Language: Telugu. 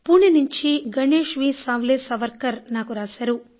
పూణె నుంచి గణేష్ వి సావ్లేసవార్కర్ నాకు రాశారు